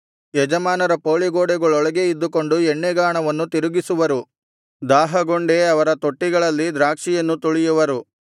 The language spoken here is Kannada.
ಯಜಮಾನರ ಪೌಳಿಗೋಡೆಗಳೊಳಗೇ ಇದ್ದುಕೊಂಡು ಎಣ್ಣೆಗಾಣವನ್ನು ತಿರುಗಿಸುವರು ದಾಹಗೊಂಡೇ ಅವರ ತೊಟ್ಟಿಗಳಲ್ಲಿ ದ್ರಾಕ್ಷಿಯನ್ನು ತುಳಿಯುವರು